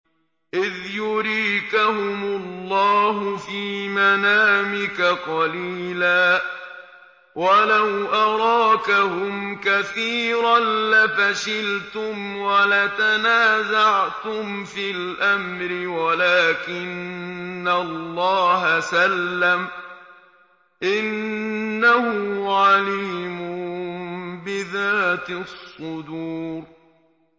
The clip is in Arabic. إِذْ يُرِيكَهُمُ اللَّهُ فِي مَنَامِكَ قَلِيلًا ۖ وَلَوْ أَرَاكَهُمْ كَثِيرًا لَّفَشِلْتُمْ وَلَتَنَازَعْتُمْ فِي الْأَمْرِ وَلَٰكِنَّ اللَّهَ سَلَّمَ ۗ إِنَّهُ عَلِيمٌ بِذَاتِ الصُّدُورِ